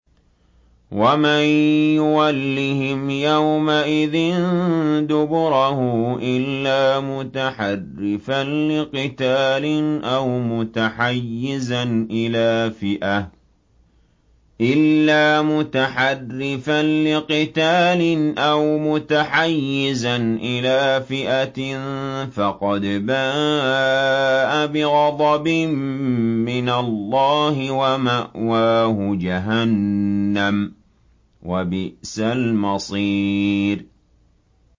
وَمَن يُوَلِّهِمْ يَوْمَئِذٍ دُبُرَهُ إِلَّا مُتَحَرِّفًا لِّقِتَالٍ أَوْ مُتَحَيِّزًا إِلَىٰ فِئَةٍ فَقَدْ بَاءَ بِغَضَبٍ مِّنَ اللَّهِ وَمَأْوَاهُ جَهَنَّمُ ۖ وَبِئْسَ الْمَصِيرُ